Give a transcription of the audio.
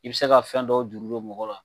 I be se ga fɛn dɔw juru don mɔgɔ la